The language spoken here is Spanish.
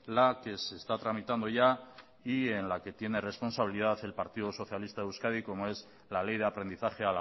la que se está tramitando ya y en la que tiene responsabilidad el partido socialista de euskadi como es la ley de aprendizaje